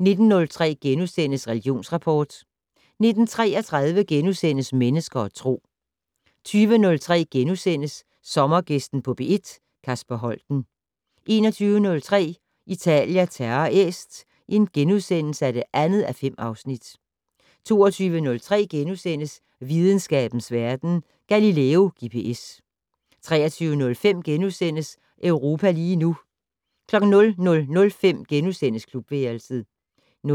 19:03: Religionsrapport * 19:33: Mennesker og Tro * 20:03: Sommergæsten på P1: Kasper Holten * 21:03: Italia Terra Est (2:5)* 22:03: Videnskabens Verden: Galileo GPS * 23:05: Europa lige nu * 00:05: Klubværelset * 00:32: